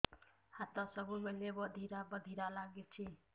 ହାତ ସବୁବେଳେ ବଧିରା ବଧିରା ଲାଗୁଚି